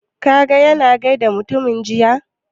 Ka ga ya na gaida mutumin jiya?